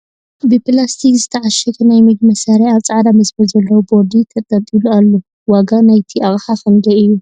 ብ ፕላስቲክ ዝተዕሸገ ናይ ምግቢ መሳርሒ ኣብ ፃዕዳ መስመር ዘለዎ ቦርዲ ተንጠልጢሉ ኣሎ ። ዋጋ ናይቲ ኣቅሓ ክንደይ እዩ ?